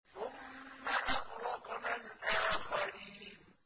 ثُمَّ أَغْرَقْنَا الْآخَرِينَ